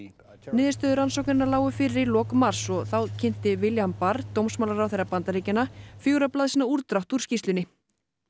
niðurstöður rannsóknarinnar lágu fyrir í lok mars og þá kynnti William barr dómsmálaráðherra Bandaríkjanna fjögurra blaðsíðna útdrátt úr skýrslunni